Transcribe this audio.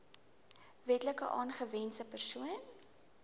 wetlik aangewese persoon